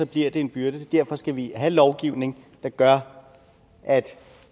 bliver det en byrde derfor skal vi have lovgivning der gør